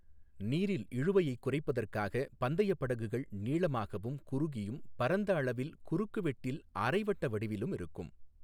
நீரில் இழுவையைக் குறைப்பதற்காக பந்தயப் படகுகள் நீளமாகவும், குறுகியும், பரந்த அளவில் குறுக்குவெட்டில் அரை வட்ட வடிவிலும் இருக்கும்.